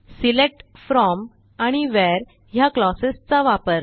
select from आणि where ह्या clauses चा वापर